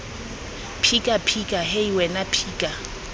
phika phika hei wena phika